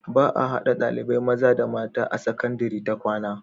baa hada ɗalibai mata da maza a sakandari ta kwAna